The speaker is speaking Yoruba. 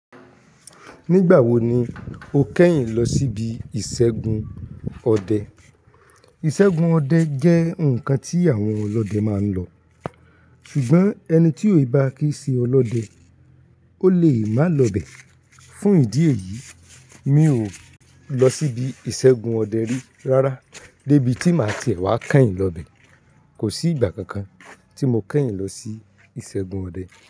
Nígbà wo ni o kẹ́yìn lọ síbi ìṣẹ́gun ọdẹ? Ìṣẹ́gun ọdẹ jẹ́ ǹkan tí àwọn ọlọ́dẹ máa ń lọ. Ṣùgbọ́n ẹni tí ò bá kí i ṣe ọlọ́dẹ, ó lè má lọ bẹ̀. Fún ìdí èyí, mi ò lọ síbi ìṣẹ́gun ọdẹ rí rárá. Débi tí màá ti ẹ̀ wá kẹ́yìn lọ bẹ̀, kò sí ìgbà kankan tí mo kẹ́yìn lọ sí ìṣẹ́gun ọdẹ.